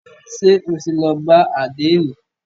Ṣé o ti lọ bá àdénì?